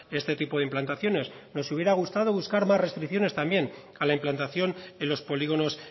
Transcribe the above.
este tipo de implantaciones nos hubiera gustado buscar más restricciones también a la implantación en los polígonos